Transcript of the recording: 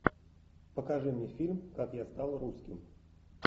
покажи мне фильм как я стал русским